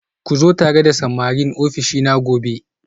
Ku zo tare da samarin ofishina gobe